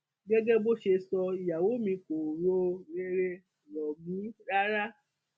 gẹgẹ bó ṣe sọ ìyàwó mi kò ro rere rọ mí rárá